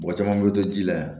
Mɔgɔ caman bɛ to ji la